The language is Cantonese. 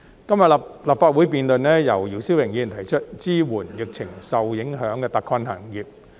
今天立法會辯論由姚思榮議員提出的"支援受疫情影響的特困行業"議案。